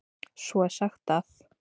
Svo er sagt að.